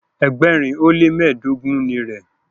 ẹgbẹrin o le mẹdogun ní rẹ.